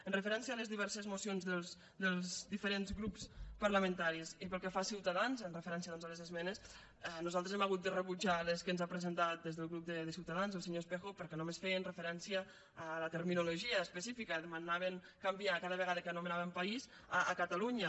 amb referència a les diverses mocions dels diferents grups parlamentaris i pel que fa a ciutadans amb referència doncs a les esmenes nosaltres hem hagut de rebutjar les que ens ha presentat des del grup de ciutadans el senyor espejo perquè només feien referència a la terminologia específica demanaven canviar cada vegada que anomenàvem país per catalunya